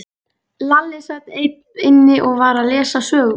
Lalli sat einn inni og var að lesa sögubók.